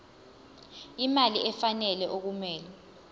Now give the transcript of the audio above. imali efanele okumele